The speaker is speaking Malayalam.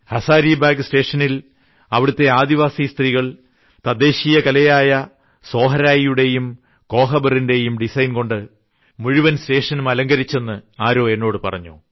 ഹസാരിബാഗ് സ്റ്റേഷനിൽ അവിടുത്തെ ആദിവാസി സ്ത്രീകൾ തദ്ദേശീയ കലയായ സോഹരായിയുടെയും കോഹബറിന്റെയും ഡിസൈൻകൊണ്ട് മുഴുവൻ സ്റ്റേഷനും അലങ്കരിച്ചെന്ന് എന്നോട് ആരോ പറഞ്ഞു